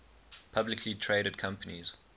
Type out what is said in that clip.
publicly traded companies